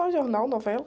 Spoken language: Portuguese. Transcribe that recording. Ah, jornal, novela.